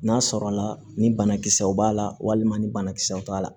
N'a sɔrɔla ni banakisɛw b'a la walima ni banakisɛw t'a la